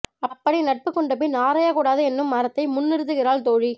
அப்படி நட்பு கொண்டபின் ஆராயக் கூடாது என்னும் அறத்தை முன்னிறுத்துகிறாள் தோழி